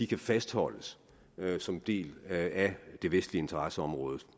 kan fastholdes som en del af det vestlige interesseområde